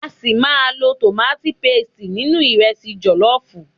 A ṣi máa lo tomati paste nínú ìrẹsi jọ̀lọ́fùú.